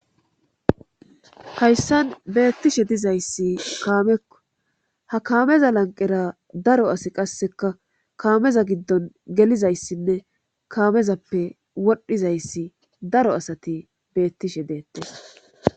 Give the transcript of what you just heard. Hayssan beettishe dizayssi kaamekko ha kaameza lanqqera daro asi qasseka kaameza giddon gelizayssinne kaamezappe wodhizayssi daro asati beettishe deettees.